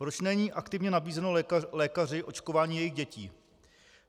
Proč není aktivně nabízeno lékaři očkování jejich dětí?